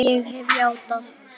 Hann skar hana á háls.